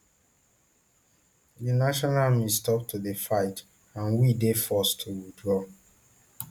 di national army stop to dey fight and we dey forced to withdraw